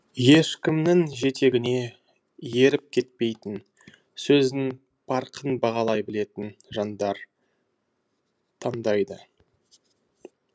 ешкімнің жетегіне еріп кетпейтін сөздің парқын бағалай білетін жандар таңдайды